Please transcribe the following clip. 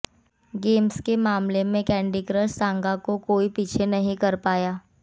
games में मामले में कैंडी क्रश सागा को कोई पीछे नहीं कर पाया